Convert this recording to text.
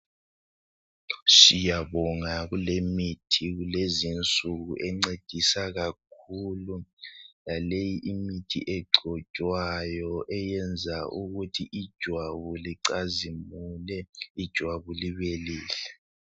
Siyabonga kulemithi kulezinsuku encedisa kakhulu ,laleyi imithi egcotshwayo eyenza ukuthi ijwabu licazimule ijwabu libelihle.